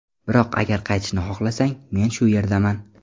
Biroq agar qaytishni xohlasang, men shu yerdaman.